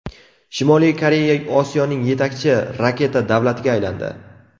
Shimoliy Koreya Osiyoning yetakchi raketa davlatiga aylandi.